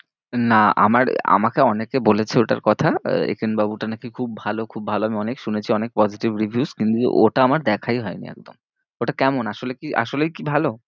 না আমার, আমাকে অনেকে বলেছে ওটার কথা আহ একেন বাবুটা নাকি খুব ভালো খুব ভালো, আমি অনেক শুনেছি অনেক positive reviews কিন্তু ওটা আমার দেখাই হয়নি একদম ওটা কেমন? আসলে কি আসলেই কি ভালো?